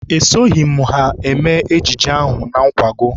Esoghị m ha eme ejije ahụ na nkwago.